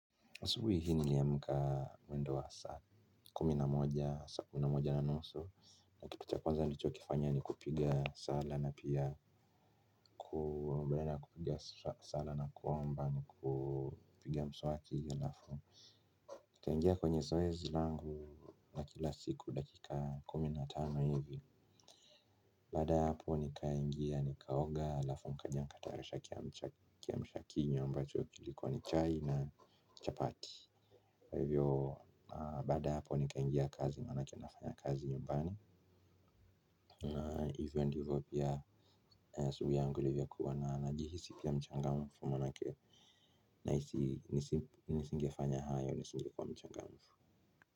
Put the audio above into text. Asubuhi hii niliamka mwendo wa saa kumi na moja na nusu na kitu cha kwanza nichokifanya ni kupiga sala na pia kuombeana kupiga sala nakuomba ni kupiga mswaki alafu nikaingia kwenye zoezi langu na kila siku dakika kumi na tano hivi. Baada hapo nikaingia nikaoga alafu mkanyangataarisha kia mshakinyo mbacho kilikuwa ni chai na chapati kwa hivyo baada ya hapo nikaingia kazi manake nafanya kazi nyumbani. Na hivyo ndivyo pia subiangulivya kuwa na najihisi pia mchangamufu manake ndingefanya hayo nisingskuwa mchangamfu.